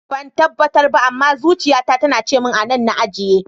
Ban tabbatar ba, amma zuciya ta tana cimin anan na ajiye.